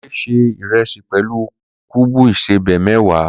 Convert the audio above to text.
Kunle se iresi pelu kuubu ìsẹbè mewa.